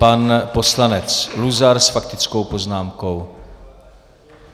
Pan poslanec Luzar s faktickou poznámkou.